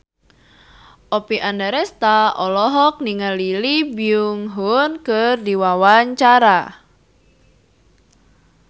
Oppie Andaresta olohok ningali Lee Byung Hun keur diwawancara